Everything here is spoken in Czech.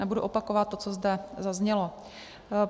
Nebudu opakovat to, co zde zaznělo.